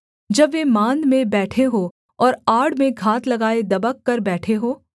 जब वे माँद में बैठे हों और आड़ में घात लगाए दबक कर बैठे हों